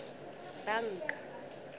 banka